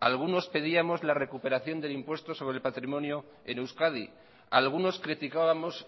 algunos pedíamos la recuperación del impuesto sobre el patrimonio en euskadi algunos criticábamos